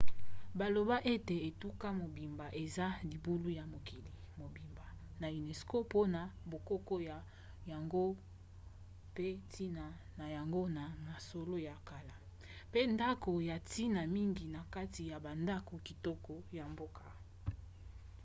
baloba ete etuka mobimba eza libula ya mokili mobimba na unesco mpona bokoko na yango pe ntina na yango na masolo ya kala pe ndako ya ntina mingi na kati ya bandako kitoko ya mboka